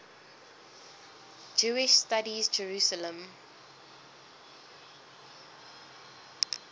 jewish studies jerusalem